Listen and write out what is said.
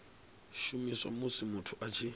shumiswa musi muthu a tshi